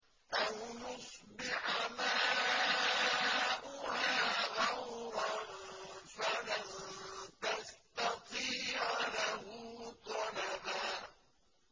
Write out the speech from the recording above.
أَوْ يُصْبِحَ مَاؤُهَا غَوْرًا فَلَن تَسْتَطِيعَ لَهُ طَلَبًا